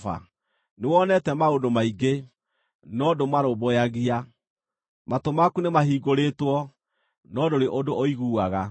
Nĩwonete maũndũ maingĩ, no ndũmarũmbũyagia; matũ maku nĩmahingũrĩtwo, no ndũrĩ ũndũ ũiguaga.”